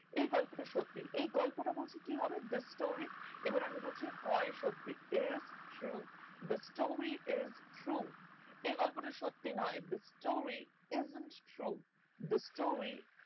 এই গল্পটা সত্যি এই গল্পটা বলছে কি হবে this story এবার আমি বলছি হয় সত্যি is true this story is tru এই গল্পটা সত্যি নয় this story is not true the story